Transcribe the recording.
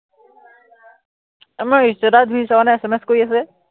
আমাৰ status তুমি চোৱা নাই SMS কৰিস আছে যে